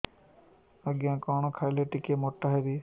ଆଜ୍ଞା କଣ୍ ଖାଇଲେ ଟିକିଏ ମୋଟା ହେବି